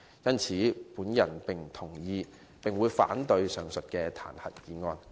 我不同意並會反對這項彈劾議案。